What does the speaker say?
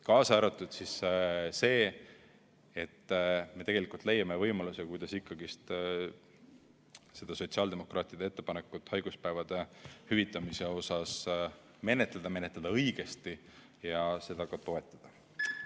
Kaasa arvatud see, et me leiame võimaluse, kuidas ikkagi seda sotsiaaldemokraatide haiguspäevade hüvitamise ettepanekut menetleda, menetleda õigesti ja seda ka toetada.